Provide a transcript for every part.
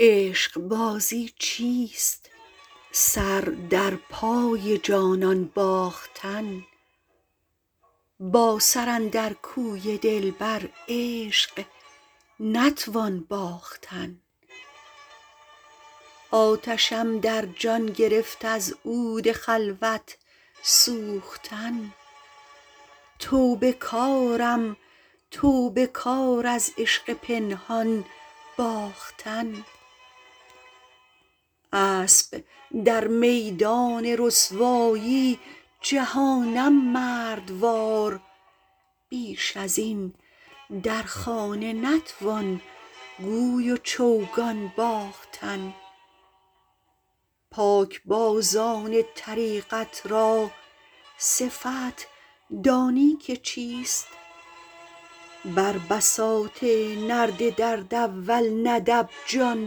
عشقبازی چیست سر در پای جانان باختن با سر اندر کوی دلبر عشق نتوان باختن آتشم در جان گرفت از عود خلوت سوختن توبه کارم توبه کار از عشق پنهان باختن اسب در میدان رسوایی جهانم مردوار بیش از این در خانه نتوان گوی و چوگان باختن پاکبازان طریقت را صفت دانی که چیست بر بساط نرد درد اول ندب جان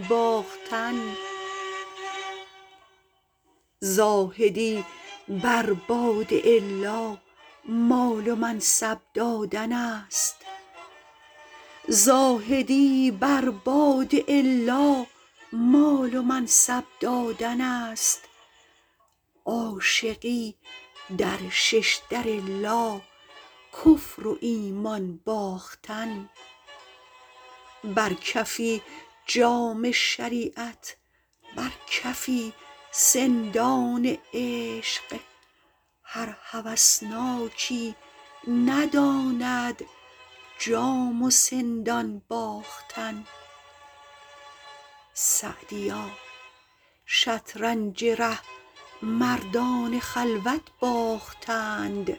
باختن زاهدی بر باد الا مال و منصب دادن است عاشقی در ششدر لا کفر و ایمان باختن بر کفی جام شریعت بر کفی سندان عشق هر هوسناکی نداند جام و سندان باختن سعدیا شطرنج ره مردان خلوت باختند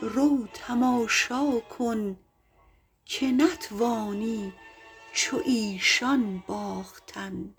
رو تماشا کن که نتوانی چو ایشان باختن